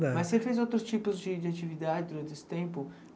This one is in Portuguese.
Mas você fez outros tipos de de atividade durante esse tempo?